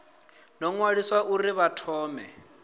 ḓo ṅwaliswa uri vha thome